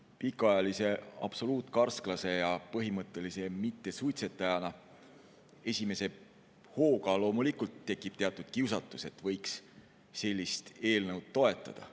Minul pikaajalise absoluutkarsklase ja põhimõttelise mittesuitsetajana esimese hooga loomulikult tekib teatud kiusatus, et võiks sellist eelnõu toetada.